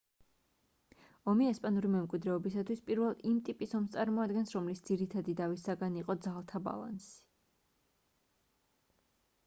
ომი ესპანური მემკვიდრეობისათვის პირველ იმ ტიპის ომს წარმოადგენს რომლის ძირითადი დავის საგანი იყო ძალთა ბალანსი